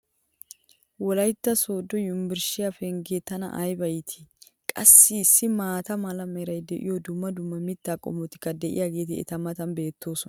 wolaytta soodo yunbburshshiya pengee tana ayba iittii!! qassi issi maata mala meray diyo dumma dumma mitaa qommotikka diyaageeti eta matan beetoosona